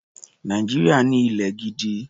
Nàìjíríà ní ilẹ̀ gidi.